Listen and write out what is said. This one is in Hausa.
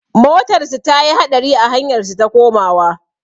Motarsu ta yi haɗari a hanyar su ta komawa.